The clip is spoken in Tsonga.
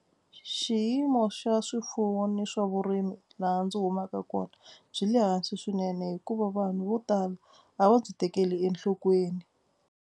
Xiyimo xa swifuwo ni swa vurimi laha ndzi humaka kona byi le hansi swinene hikuva vanhu vo tala a va byi tekeli enhlokweni.